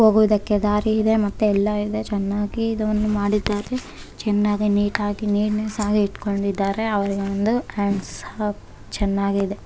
ಹೋಗೋದಕ್ಕೆ ದಾರಿ ಇದೆ ಮತ್ತೆ ಎಲ್ಲ ಇದೆ ಚೆನ್ನಾಗಿ ಇದನ್ನ ಮಾಡಿದ್ದಾರೆ ಚೆನ್ನಾಗಿ ನೀಟ್ ಆಗಿ ನೀರ್ನ ಅಹ ಇಟ್ಕೊಂಡಿದಾರೆ ಅವರಿಗೊಂದು ಹಾಟ್ಸ್ ಆಫ್ ಚೆನ್ನಾಗಿದೆ.